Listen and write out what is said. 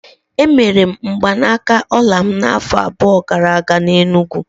Emere mgbanaka ọla m n'afọ abụọ gara aga n'Enugwu.